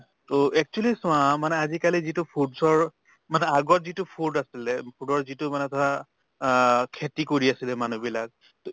actually চোৱা মানে আজি কালি যিটো foods ৰ মানে আগত যিটো food আছিলে food ৰ যিটো মানে ধৰা আহ খেতি কৰি আছিলে মানুহ বিলাক, ত